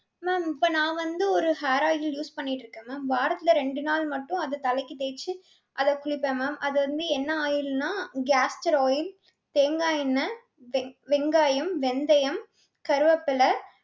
ma'am இப்ப நான் வந்து ஒரு hair oil use பண்ணிட்டிருக்கேன் ma'am. வாரத்துல ரெண்டு நாள் மட்டும் அது தலைக்கு தேச்சு அத குளிப்பேன் ma'am. அது வந்து என்ன oil னா castor oil தேங்காய் எண்ணெய், வெ~ வெங்காயம், வெந்தயம், கருவேப்பிலை